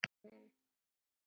Þeir styðja málstað minn.